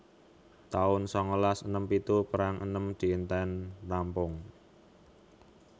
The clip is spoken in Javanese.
taun sangalas enem pitu Perang enem dinten rampung